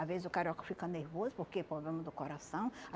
Às vezes o carioca fica nervoso porque é problema do coração.